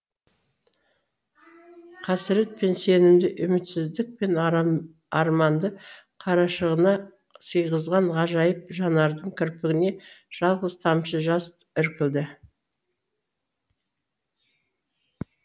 қасірет пен сенімді үмітсіздік пен арманды қарашығына сыйғызған ғажайып жанардың кірпігіне жалғыз тамшы жас іркілді